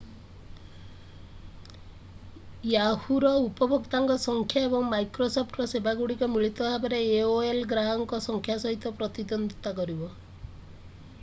yahoo ର ଉପଭୋକ୍ତାଙ୍କ ସଂଖ୍ୟା ଏବଂ microsoft ର ସେବାଗୁଡିକ ମିଳିତ ଭାବରେ aol ଗ୍ରାହକଙ୍କ ସଂଖ୍ୟା ସହିତ ପ୍ରତିଦ୍ଵନ୍ଦିତା କରିବ